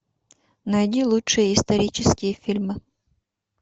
найди лучшие исторические фильмы